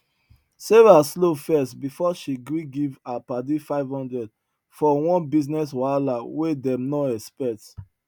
sarah slow first before she gree give her padi 500 for one business wahala wey dem no expect